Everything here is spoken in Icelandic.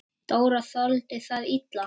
Dóra þoldi það illa.